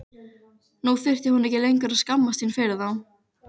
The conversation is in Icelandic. Nú þurfti hún ekki lengur að skammast sín fyrir þá.